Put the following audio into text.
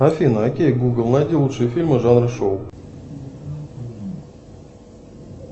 афина окей гугл найди лучшие фильмы жанра шоу